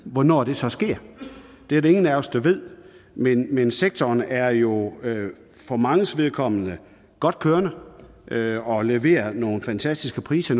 hvornår det så sker det er der ingen af os der ved men men sektoren er jo for manges vedkommende godt kørende og leverer nogle fantastiske priser